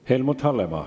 Helmut Hallemaa.